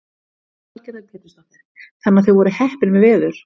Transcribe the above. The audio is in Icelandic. Lillý Valgerður Pétursdóttir: Þannig að þau voru heppin með veður?